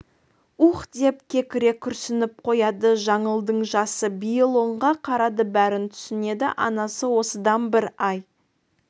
уһ деп кекіре күрсініп қояды жаңылдың жасы биыл онға қарады бәрін түсінеді анасы осыдан бір ай